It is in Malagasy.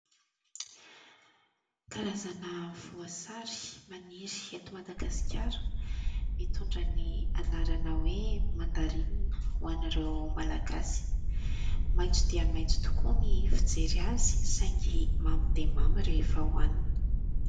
Karazana voasary maniry eto Madagasikara, mitondra ny anarana hoe mandarinina ho anareo malagasy. Maitso dia maitso tokoa ny fijery azy saingy mamy dia mamy rehefa hoanina.